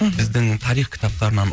мхм біздің тарих кітаптарынан